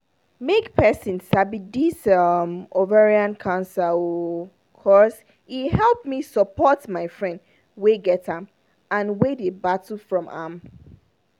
make persin sabi this um ovarian cancer oooo cos e help me support my friend wey get am and wey dey battle from am